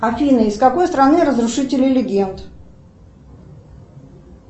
афина из какой страны разрушители легенд